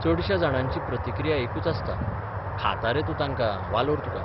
चडश्या जाणांची प्रतिक्रिया एकूच आसता खाता रे तूं तांकां वालोर तुका.